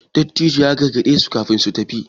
Dattijon ya gargade su kafin suka tafi